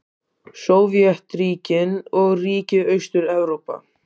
Sovétríkin og ríki Austur-Evrópu.